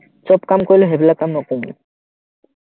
চব কাম কৰিলেও সেইবিলাক কাম নকৰো,